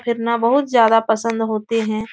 फिरना बहुत ज्यादा पसंद होते हैं।